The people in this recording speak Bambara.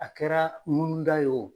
A kɛra ŋunuda ye wo.